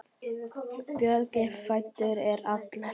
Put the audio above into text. Böggi frændi er allur.